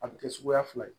A bɛ kɛ suguya fila ye